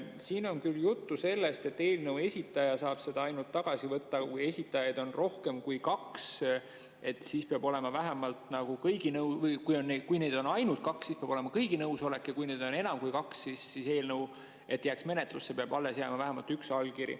Siin on juttu sellest, et ainult eelnõu esitaja saab seda tagasi võtta, aga kui esitajaid on ainult kaks, siis peab olema kõigi nõusolek, ja kui neid on enam kui kaks, siis selleks, et eelnõu jääks menetlusse, peab alles jääma vähemalt üks allkiri.